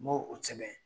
N m'o o sɛbɛn